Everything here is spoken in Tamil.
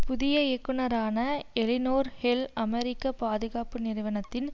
புதிய இயக்குனரான எலினோர் ஹில் அமெரிக்க பாதுகாப்பு நிறுவனத்தின்